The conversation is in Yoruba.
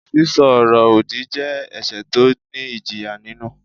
Sísọ ọ̀rọ̀-òdì jẹ́ ẹ̀ṣẹ̀ tó ní ìjìyà nínú.